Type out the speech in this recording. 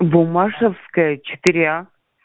буммашевская четыре а